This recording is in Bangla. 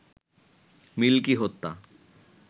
মিল্কি হত্যা